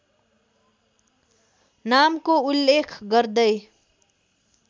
नामको उल्लेख गर्दै